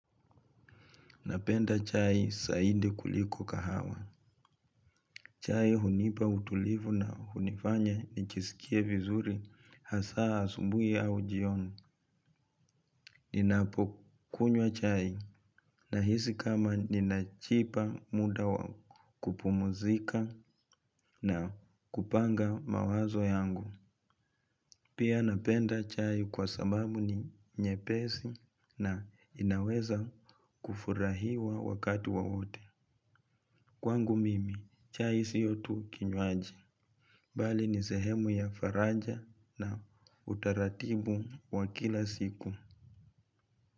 Napenda chai zaidi kuliko kahawa. Chai hunipa utulivu na hunifanya nijisikie vizuri hasa asubuhi au jioni. Ninapokunywa chai nahisi kama ninajipa muda wa kupumzika na kupanga mawazo yangu. Pia napenda chai kwa sababu ni nyepesi na inaweza kufurahiwa wakati wowote. Kwangu mimi, chai sio tu kinywaji bali ni sehemu ya faraja na utaratibu wa kila siku.